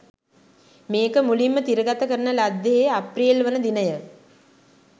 මේක මුලින්ම තිරගත කරන ලද්දේහේ අප්‍රේල්වන දිනය.